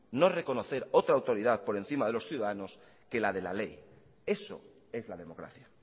no reconocer otra autoridad por encima de los ciudadanos que la de la ley eso es la democracia